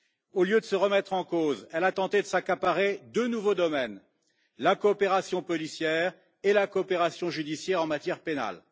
Au lieu de se remettre en cause, elle a tenté de s'accaparer deux nouveaux domaines la coopération policière et la coopération judiciaire en matière pénale.